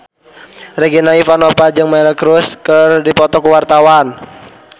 Regina Ivanova jeung Miley Cyrus keur dipoto ku wartawan